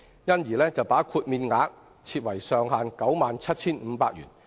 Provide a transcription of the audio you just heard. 有見及此，政府將豁免額上限定為 97,500 元。